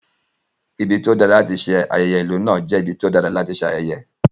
Ibi tí ó dára láti ṣe ayẹyẹ ìlú náà jẹ́ ibi tí ó dára láti ṣe ayẹyẹ.